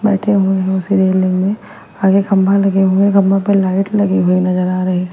बैठे हुए है उसी रेलिंग में आगे खंभा लगे हुए है खंभो पे लाइट लगी हुई नजर आ रही--